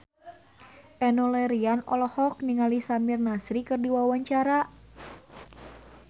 Enno Lerian olohok ningali Samir Nasri keur diwawancara